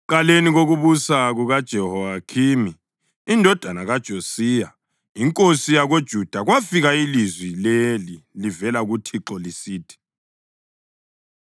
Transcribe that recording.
Ekuqaleni kokubusa kukaJehoyakhimi indodana kaJosiya inkosi yakoJuda, kwafika ilizwi leli livela kuThixo lisithi,